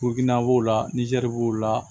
b'o la nizɛri b'o la